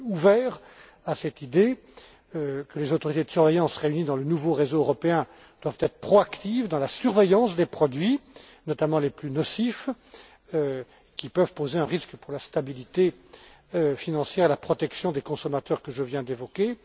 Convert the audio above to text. Je suis ouvert à cette idée selon laquelle les autorités de surveillance réunies dans le nouveau réseau européen doivent être proactives dans la surveillance des produits, notamment les plus nocifs, qui peuvent poser un risque pour la stabilité financière, la protection des consommateurs que je viens d'évoquer.